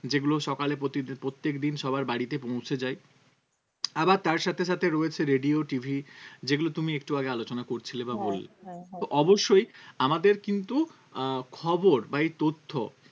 যেগুলো সকালে প্রতিদিন প্রত্যেকদিন সবার বাড়িতে পৌঁছে যায় আবার তার সাথে সাথে রয়েছে radio TV যেগুলো তুমি একটু আগে আলোচনা করছিলে বা করলে, হ্যাঁ হ্যাঁ হ্যাঁ তো অবশ্যই আমাদের কিন্তু আহ খবর বা এই তথ্য